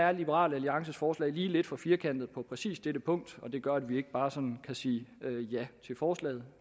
er liberal alliances forslag lige lidt for firkantet på præcis dette punkt og det gør at vi ikke bare sådan kan sige ja til forslaget